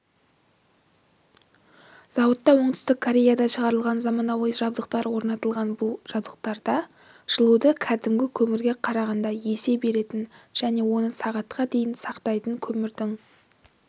зауытта оңтүстік кореяда шығарылған заманауи жабдықтар орнатылған бұл жабдықтарда жылуды кәдімгі көмірге қарағанда есе беретін және оны сағатқа дейін сақтайтын көмірдің